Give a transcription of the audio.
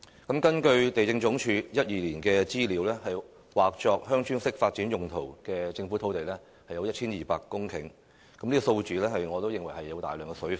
根據地政總署2012年的資料，劃作"鄉村式發展"用途的土地有1200公頃，我認為這數字包含大量"水分"......